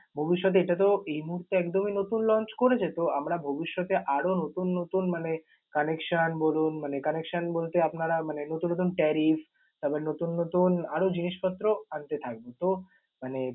ভবিষ্যতে এটাতেও এই মুহুর্তে একদমই নতুন launch করেছে তো আমরা ভবিষ্যতে আরও নতুন নতুন মানে connection বলুন মানে connection বলতে আপনারা মানে নতুন নতুন tariff তারপরে নতুন নতুন আরও জিনিসপত্র আনতে থাকবো। তো মানে